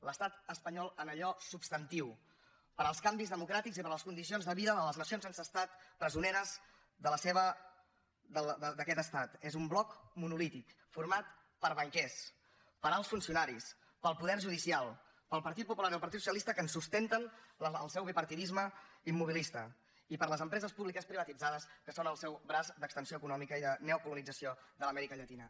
l’estat espanyol en allò substantiu per als canvis democràtics i per a les condicions de vida de les nacions sense estat presoneres d’aquest estat és un bloc monolític format per banquers per alts funcionaris pel poder judicial pel partit popular i el partit socialista que en sustenten el seu bipartidisme immobilista i per les empreses públiques privatitzades que són el seu braç d’extensió econòmica i de neocolonització de l’amèrica llatina